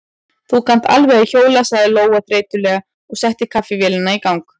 Þú kannt alveg að hjóla, sagði Lóa þreytulega og setti kaffivélina í gang.